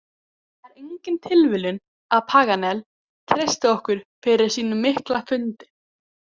Það er engin tilviljun að Paganel treystir okkur fyrir sínum mikla fundi.